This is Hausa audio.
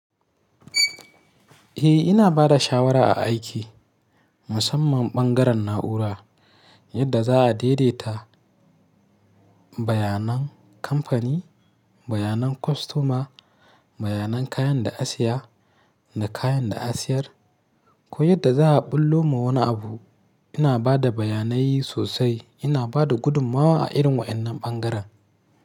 Eh ina bada shawara a aiki, musamman ɓangaren na'ura yadda za'a daidaita bayanan kamfani, bayanan kwastoma, bayanan kayan da a saya da kayan da a siyar. Ko yadda za'a ɓullo ma wani abu ina bada bayanai sosai, ina bada gudummawa a irin wa'annan ɓangaren.